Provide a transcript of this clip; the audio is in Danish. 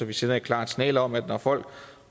vi sender et klart signal om at det når folk